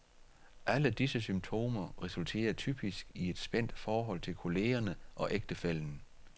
Alle disse symptomer resulterer typisk i et spændt forhold til kollegerne og ægtefællen.